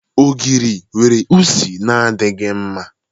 Ogiri nwere isi na-adịghị mma.